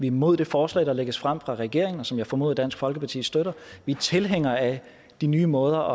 imod det forslag der lægges frem fra regeringen og som jeg formoder dansk folkeparti støtter vi er tilhængere af de nye måder